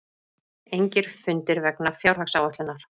Engir fundir vegna fjárhagsáætlunar